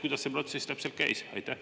Kuidas see protsess täpselt käis?